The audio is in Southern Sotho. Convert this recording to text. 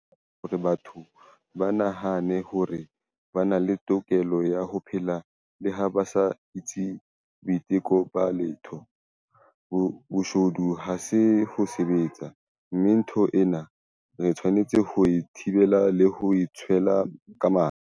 Ha se taba e amohelehang hore batho ba nahane hore ba na le tokelo ya ho phela le ha ba sa etse boiteko ba letho - boshodu ha se ho sebetsa, mme ntho ena re tshwanetse ho e thibela le ho e tshwela ka mathe.